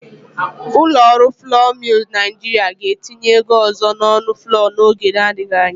Ụlọ ọrụ flọọ Milz Naịjịrịa ga-etinye ego ọzọ n'ọnụ flọọ n'oge na-adigji anya.